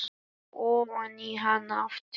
Og ofan í hana aftur.